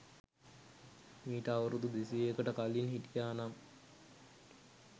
මීට අවුරුදු දෙසීයකට කලින් හිටියා නම්